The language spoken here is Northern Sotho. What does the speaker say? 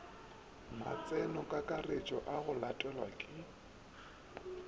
matsenokakaretšo a go latelwa ke